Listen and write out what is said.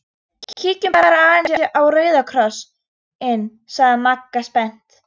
Kíkjum bara aðeins á Rauða Kross- inn sagði Magga spennt.